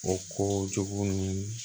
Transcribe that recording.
O kow jow ni